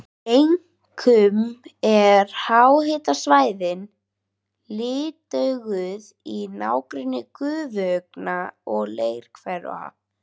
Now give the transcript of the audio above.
Einkum eru háhitasvæðin litauðug í nágrenni gufuaugna og leirhvera.